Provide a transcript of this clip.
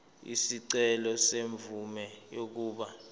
isicelo semvume yokuba